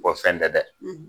O fɛn tɛ dɛ!